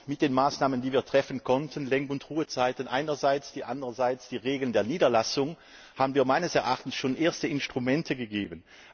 Mit den Maßnahmen, die wir treffen konnten Lenk und Ruhezeiten einerseits, andererseits die Regeln der Niederlassung haben wir meines Erachtens schon erste Instrumente gegeben.